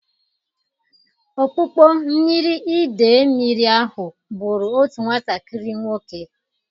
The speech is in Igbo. Okpukpo mmiri idei mmiri ahụ bụrụ otu nwatakịrị nwoke.